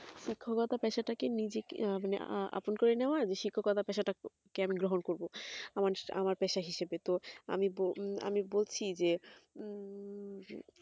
শিক্ষকতা পেশা টাকে নিজেকে মানে আপন করে নেওয়াই মানে শিক্ষকতা পেশা টাকে আমি গ্রহণ করবো আমার পেশা হিসাবে তো আমি বুজি যে হম